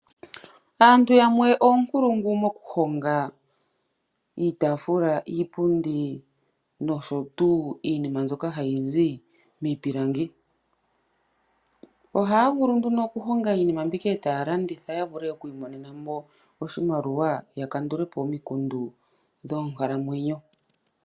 Aantu yamwe oonkulungu mokuhonga, iitafula, iipundi posho tuu minim mbyoka ha yi zi miipilangi. Oha ya value ndino oku honga minimal mbika eta ya imonenemo oshimaliwa ya kandulepo oompumbwe dhonkalamwenyo.